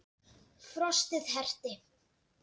Frostið herti.